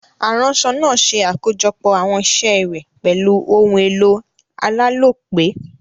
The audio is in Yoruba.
Aránso naa se àkójopò àwon isé rè pèlu oun èlò alálòpé